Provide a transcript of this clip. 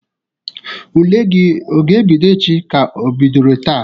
Ule gi ọ ga-ebido echi ka o bidoro taa?